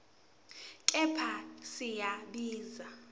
kepha siya siba